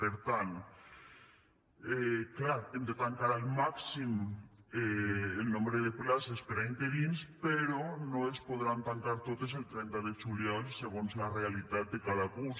per tant clar hem de tancar al màxim el nombre de places per a interins però no es podran tancar totes el trenta de juliol segons la realitat de cada curs